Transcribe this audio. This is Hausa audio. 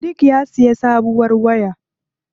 Sadik ya siya sabuwar waya.